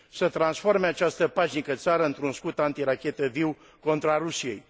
să transforme această pașnică țară într un scut anti rachetă viu, contra Rusiei.